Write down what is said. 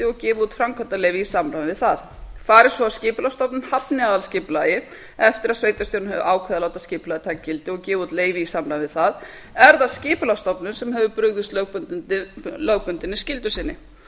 og gefið út framkvæmdaleyfi í samræmi við það fari svo að skipulagsstofnun hafni aðalskipulagi eftir að sveitarstjórn hefur ákveðið að láta skipulagið taka gildi og gefa út leyfi í samræmi við það er það skipulagsstofnun sem hefur brugðist lögbundinni skyldu sinni